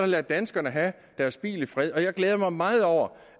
lade danskerne have deres bil i fred jeg glæder mig meget over